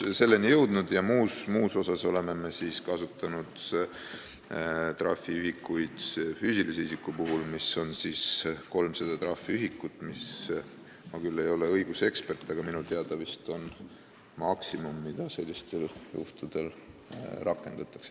Füüsilise isiku puhul oleme kasutanud 300 trahviühikut, mis on minu teada – ma küll ei ole õigusekspert – maksimum, mida sellistel juhtudel rakendatakse.